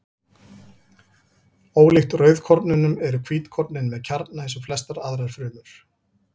Ólíkt rauðkornunum eru hvítkornin með kjarna eins og flestar aðrar frumur.